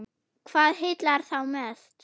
Hvað heillar þá mest?